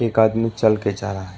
एक आदमी चल के जा रहा है।